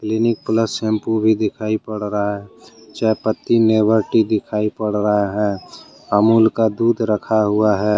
Clinic Plus shampoo पर दिखाई पड़ रहा है चाय पत्ती नेवर टी दिखाई पड़ रहा है अमूल का दूध रखा हुआ है।